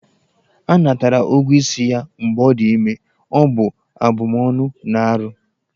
A natara ụgwọ isi ya mgbe ọ dị ime, ọ bụ abụmọnụ na arụ.